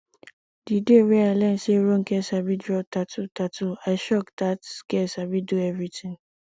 the day wey i learn say ronke sabi draw tattoo tattoo i shock dat girl sabi do everything